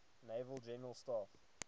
naval general staff